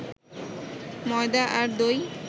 ময়দা আর দই